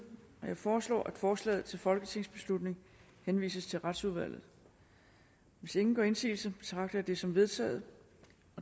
jeg foreslår at forslaget til folketingsbeslutning henvises til retsudvalget hvis ingen gør indsigelse betragter jeg det som vedtaget